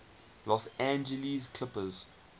los angeles clippers